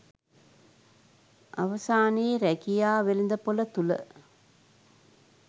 අවසානයේ රැකියා වෙළදපොල තුල